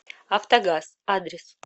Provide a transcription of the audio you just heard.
автогаз адрес